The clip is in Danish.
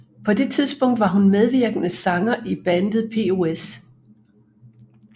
På det tidspunkt var hun medvirkende sanger i bandet POS